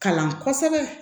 Kalan kosɛbɛ